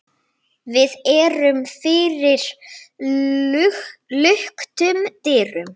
Við erum fyrir luktum dyrum.